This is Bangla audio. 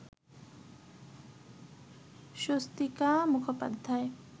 স্বস্তিকা মুখোপাধ্যায়